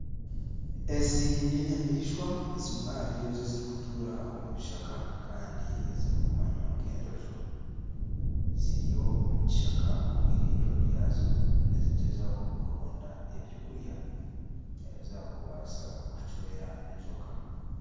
Ezi n'enyamaishwa ziimwe ahari ezo ezirikutuura omu bishaka kandi ezirikumanywa nk'enjojo ziri omu kishaka omu irindiro ryazo nizigyezaho kuronda ebyokurya ebi zaakubaasa kucwera enjoka